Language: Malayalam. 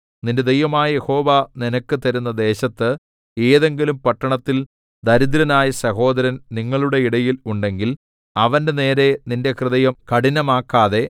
നിന്റെ ദൈവമായ യഹോവ നിനക്ക് തരുന്ന ദേശത്ത് ഏതെങ്കിലും പട്ടണത്തിൽ ദരിദ്രനായ സഹോദരൻ നിങ്ങളുടെ ഇടയിൽ ഉണ്ടെങ്കിൽ അവന്റെനേരെ നിന്റെ ഹൃദയം കഠിനമാക്കാതെ